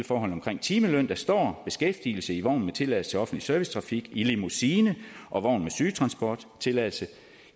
forholdene om timeløn der står beskæftigelse i vogn med tilladelse til offentlig servicetrafik i limousine og vogn med sygetransport tilladelse